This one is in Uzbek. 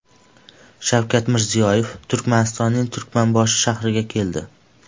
Shavkat Mirziyoyev Turkmanistonning Turkmanboshi shahriga keldi.